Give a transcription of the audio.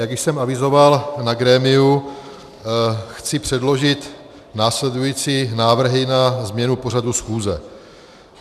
Jak již jsem avizoval na grémiu, chci předložit následující návrhy na změnu pořadu schůze.